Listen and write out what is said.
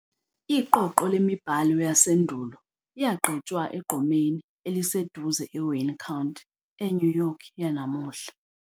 iqoqo lemibhalo yasendulo yagqitshwa egqumeni eliseduze eWayne County, eNew York yanamuhla.